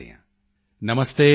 ਨਮਸਤੇ ਸੁਰੇਖਾ ਜੀ